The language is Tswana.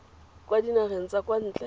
kwa dinageng tsa kwa ntle